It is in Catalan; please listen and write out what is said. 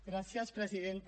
gràcies presidenta